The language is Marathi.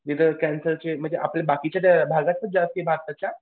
कॅन्सरचे म्हणजे आपल्या बाकीच्या भागात पण जास्ती आहे भारताच्या.